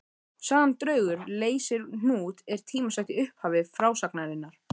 Sagan Draugur leysir hnút er tímasett í upphafi frásagnarinnar.